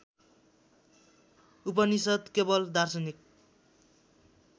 उपनिषद् केवल दार्शनिक